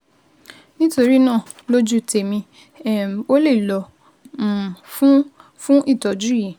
Nítorí náà, lójú tèmi, um o lè lọ um fún fún ìtọ́jú yìí